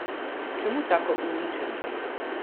Čemu tako uničenje?